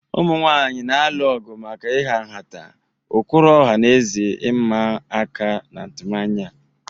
Ụmụ nwanyị na-alụ ọgụ maka ịha nhata, ụkpụrụ ọha na eze ịma aka na atụmanya.